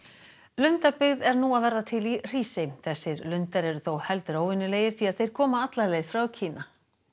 lundabyggð er nú að verða til í Hrísey þessir lundar eru þó heldur óvenjulegir því að þeir koma alla leið frá Kína